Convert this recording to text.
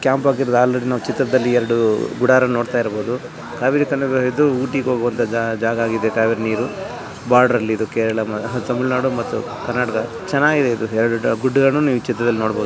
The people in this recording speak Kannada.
ಕ್ಯಾಂಪ್ ಎರಡು ಗುಡಾರನ್ನು ನೋಡಬಹುದು ಊಟಿಗೆ ಹೋಗುವಂತ ಜಾಗವಾಗಿದೆ ಕಾ ವೇರಿ ನೀರು ಬಾರ್ಡರ್ ಅಲ್ಲಿ ಕೇರಳ ಕರ್ನಾಟಕ ಮತ್ತು ತಮಿಳುನಾಡು ಚೆನ್ನಾಗಿದೆ ಇದು ಎರಡು ಗುಡ್ಡಗಳನ್ನು ನೋಡಬಹುದ.